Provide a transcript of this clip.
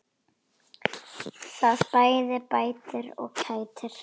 Það bæði bætir og kætir.